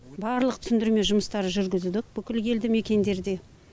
барлық түсіндірме жұмыстары жүргізіліп бүкіл елді мекендерде